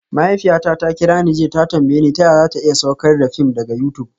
Mahaifiyata ta kira ni jiya ta tambaye ni ta yaya za ta iya saukar da fim daga YouTube